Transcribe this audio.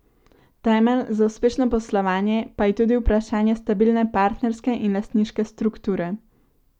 Temelj za uspešno poslovanje pa je tudi vprašanje stabilne partnerske in lastniške strukture.